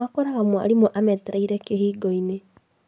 Makoraga mwarimũ ametereire kĩhingoinĩ